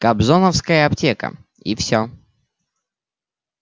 кобзоновская аптека и всё